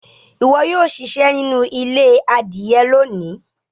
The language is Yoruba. ìwo yóò ṣiṣẹ nínú ilé adìye lóni.